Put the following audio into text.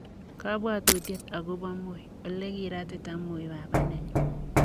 kabwatutiet agobo Moi:Ole kiratita Moi baba nenyu'